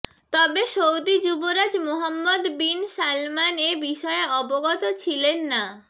তবে সৌদি যুবরাজ Mohammed bin Salman এ বিষয়ে অবগত ছিলেন না